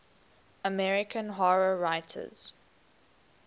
american horror writers